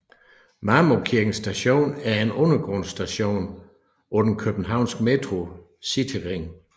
Marmorkirken Station er en undergrundsstation på den københavnske Metros cityring